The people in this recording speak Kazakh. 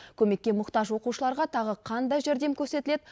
көмекке мұқтаж оқушыларға тағы қандай жәрдем көрсетіледі